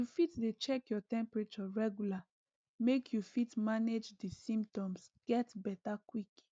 you fit dey check your temperature regular make you fit manage di symptoms get beta quick